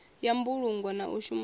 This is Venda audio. ya mbulungo na u shumana